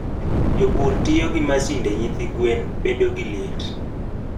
Jopur tiyo gi masinde nyithi gwen bedo gi liet.